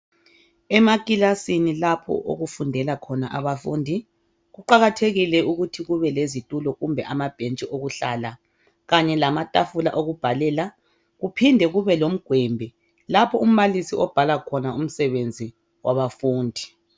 Emakilasini lapho okufundela khona abafundi kuqakathekile ukuthi kube lezitulo kumbe amabhentshi okuhlala kanye lamatafula okubhalela, kuphinde kube lomgwembe lapho umbalisi obhala khona umsebenzi wabafundi.